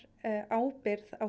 ábyrgð á